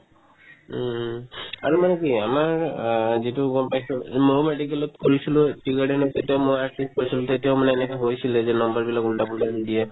উম um আৰু মানে কি আমাৰ আ যিটো গম পাইছো ময়ো medical ত কৰিছিলো tea garden তত তেতিয়া মই seat পাইছিলো তেতিয়াও মানে এনেকুৱা হৈছিলে যে number বিলাক ওলটা-পোলটাকে দিয়ে